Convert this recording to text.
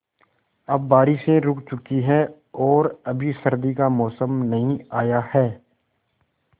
अब बारिशें रुक चुकी हैं और अभी सर्दी का मौसम नहीं आया है